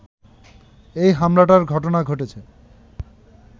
এই হামলার ঘটনা ঘটেছে